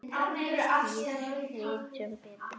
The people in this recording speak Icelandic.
Við vitum betur.